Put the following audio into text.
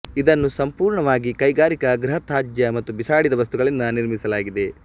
ಇದನ್ನು ಸಂಪೂರ್ಣವಾಗಿ ಕೈಗಾರಿಕಾ ಗೃಹ ತ್ಯಾಜ್ಯ ಮತ್ತು ಬಿಸಾಡಿದ ವಸ್ತುಗಳಿಂದ ನಿರ್ಮಿಸಲಾಗಿದೆ